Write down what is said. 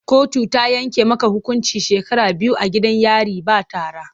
Kotu ta yanke maka hukuncin shekara biyu a gidan yari ba tara!